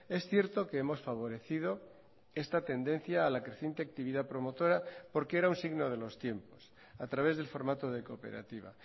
es cierto que hemos favorecido esta tendencia a la creciente actividad promotora porque era un signo de los tiempos a través del formato de cooperativa